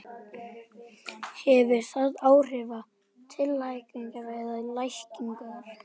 Hefur það áhrif til hækkunar eða lækkunar?